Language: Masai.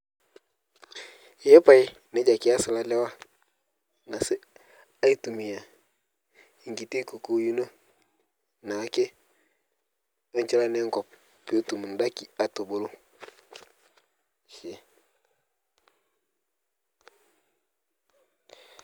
nejia kias lolewa aitumia enkiti kukuyut naa ake apik enkop pee etum edaiki atubulu